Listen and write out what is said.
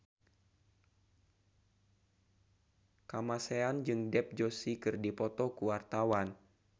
Kamasean jeung Dev Joshi keur dipoto ku wartawan